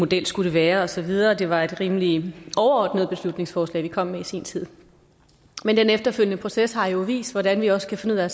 det skulle være og så videre det var et rimelig overordnet beslutningsforslag vi kom med i sin tid men den efterfølgende proces har jo vist hvordan vi også kan finde ud af